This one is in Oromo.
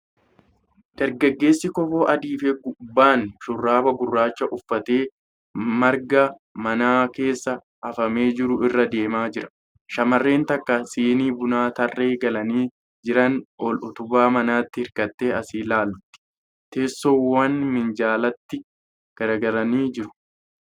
Dargaggeessi kofoo adii fi gubbaan shurraaba gurraacha uffatee marga man keessa hafamee jiru irra deemaa jira. Shamarreen takka sinii bunaa tarree galanii jiranii ol utubaa manaatti hirkattee as ilaalti. Teessoowwam minjaalatti garagalanii jiru.